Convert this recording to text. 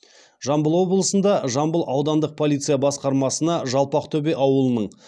жамбыл облысында жамбыл аудандық полиция басқармасына жалпақтөбе ауылының